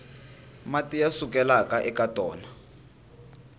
mati ya sukelaka eka tona